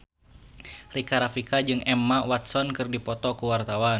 Rika Rafika jeung Emma Watson keur dipoto ku wartawan